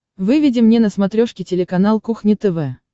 выведи мне на смотрешке телеканал кухня тв